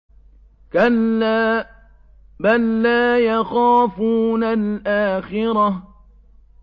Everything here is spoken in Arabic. كَلَّا ۖ بَل لَّا يَخَافُونَ الْآخِرَةَ